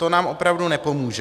To nám opravdu nepomůže.